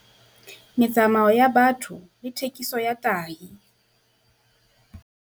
Metsamao ya batho le thekiso ya tahi.